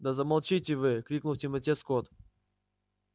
да замолчите вы крикнул в темноте скотт